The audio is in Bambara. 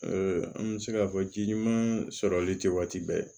an bɛ se k'a fɔ ji ɲuman sɔrɔli tɛ waati bɛɛ ye